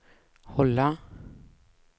hålla